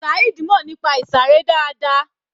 Saheed mọ̀ nípa ìsàré dáadáa.